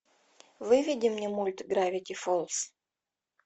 выведи мне мульт гравити фолз